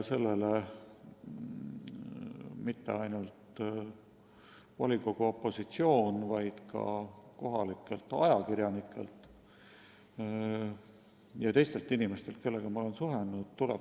Sellele pole viidanud mitte ainult Narva volikogu opositsioon, vaid ka kohalikud ajakirjanikud ja teised inimesed, kellega ma olen suhelnud.